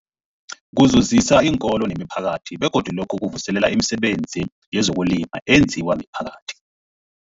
Kuzuzisa iinkolo nemiphakathi begodu lokhu kuvuselela imisebenzi yezokulima eyenziwa miphakathi.